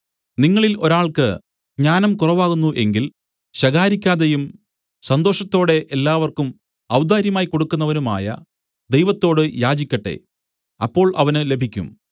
നിങ്ങളിൽ ഒരാൾക്ക് ജ്ഞാനം കുറവാകുന്നു എങ്കിൽ ശകാരിക്കാതെയും സന്തോഷത്തോടെ എല്ലാവർക്കും ഔദാര്യമായി കൊടുക്കുന്നവനുമായ ദൈവത്തോട് യാചിക്കട്ടെ അപ്പോൾ അവന് ലഭിക്കും